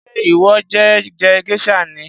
Ṣé ìwọ fé je geisha ni?